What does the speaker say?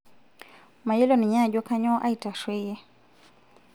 mayiolo ninye ajo kanyoo aitarrueyie